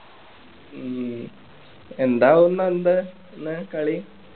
ഹും എന്താവുമെന്നന്താ ഇന്ന് കളി